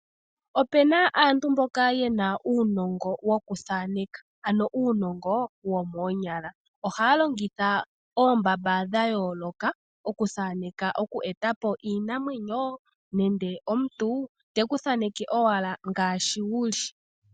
Opu na aantu mboka ye na uunongo wokuthaneka, ano uunongo womoonyala. Ohaa longitha oombamba dha yooloka okuthaneka, okweeta po iinamwenyo nenge omuntu, te ku thaneke owala ngaashi wu li.